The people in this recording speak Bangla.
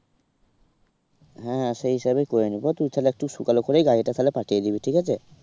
হ্যাঁ হ্যাঁ সেই হিসাবেই করে নেবো তুই তাহলে একটু সকাল করেই গাড়িটা তাহলে পাঠিয়ে দিবি ঠিক আছে।